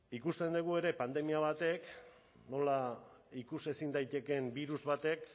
ikusten dugu ere pandemia batek nola ikusezin daitekeen birus batek